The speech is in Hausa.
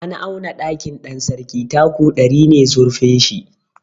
An auna ɗakin Ɗansarki taku ɗari ne zurfin shi.